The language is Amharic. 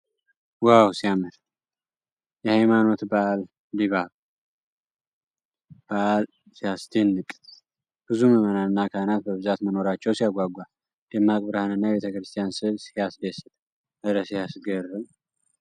ዋው ሲያምር ! የሃይማኖት በዓል ድባብ ሲያስደንቅ ! ብዙ ምዕመናንና ካህናት በብዛት መኖራቸው ሲያጓጓ ! ደማቅ ብርሃንና የቤተክርስቲያን ሥዕል ሲያስደስት ! እረ ሲያስገርም!